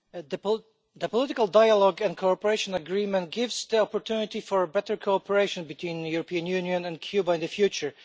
Mr President, the Political Dialogue and Cooperation Agreement gives the opportunity for better cooperation between the European Union and Cuba in the future.